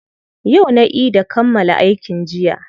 Yau na ida kammala aikin jiya.